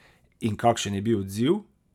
In kakšen je bil odziv?